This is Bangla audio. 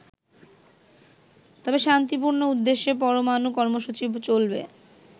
তবে শান্তিপূর্ণ উদ্দেশ্যে পরমানু কর্মসূচি চলবে।